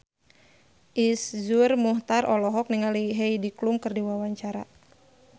Iszur Muchtar olohok ningali Heidi Klum keur diwawancara